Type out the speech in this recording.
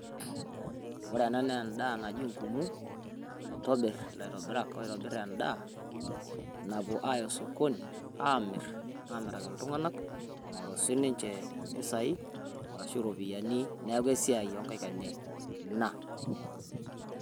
Ore ena naa endaa naji ngumu naitobirr ilaitobirak oitobirr endaa napuo aaya osokoni aamirr, aamiraki iltung'anak eing'oru sinche impisai arashu iropiyiani, neeku esiai oonkaik enye ina.